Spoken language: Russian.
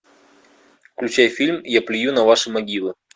включай фильм я плюю на ваши могилы